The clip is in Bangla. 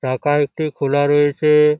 টাকা একটি খোলা রয়েছেএএ ।